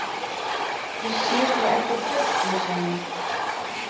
Ég sé svo eftir öllu saman.